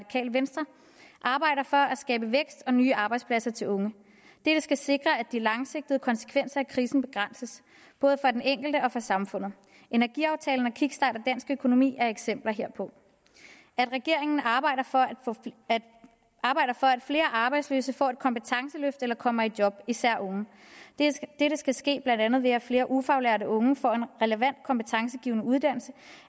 skabe vækst og nye arbejdspladser til unge dette skal sikre at de langsigtede konsekvenser af krisen begrænses både for den enkelte og for samfundet energiaftalen og kickstart af dansk økonomi er eksempler herpå at regeringen arbejder for at flere arbejdsløse får et kompetenceløft eller kommer i job især unge dette skal blandt andet ske ved at flere ufaglærte unge får en relevant kompetencegivende uddannelse